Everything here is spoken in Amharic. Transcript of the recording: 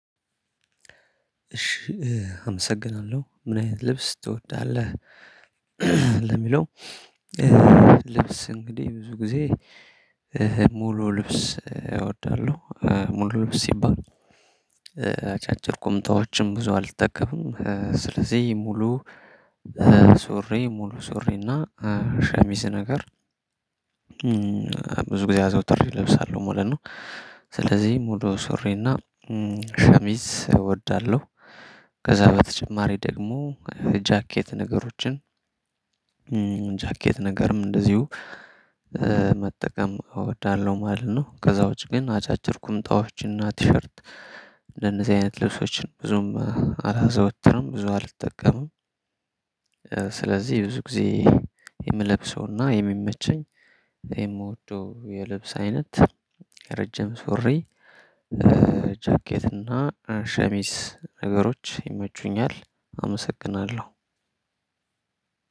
እሺ አመሰግናለሁ ምን አይነት ልብስ ትወዳለህ? ለሚለው ልብስ እንግዲህ ብዙ ጊዜ ሙሉ ልብስ እወዳለሁ ሙሉ ልብስ ሲባል አጫጭር ቁምጣዎችም ብዙ አልተጠቀምም ስለዚህ ሙሉ ሶሪ ሙሉ ሶሪና ሸሚዝ ነገር ብዙ ጊዜ አዘውትሬ እለብሳለሁ ማለት ነው። ስለዚህ ሙሉ ሱሪና ሸሚዝ እወዳለሁ። ከዛ በተጨማሪ ደግሞ ጃኬት ነገሮችን ጃኬት ነገርም እንደዚሁ መጠቀም እወዳለሁ ማለት ነው። ከዛ ውጪ ግን አጫጭር ቁምጣዎችን እና ቲሸርት እንደነዚህ አይነት ልብሶችን ብዙም አላዘወትርም ብዙ አልጠቀምም። ስለዚህ ብዙ ጊዜ የምለብሰውና የሚመቸኝ የምወደው የልብስ አይነት ረጅም ሱሪ ጃኬት እና ሸሚስ ነገሮች ይመቹኛል። አመሰግናለሁ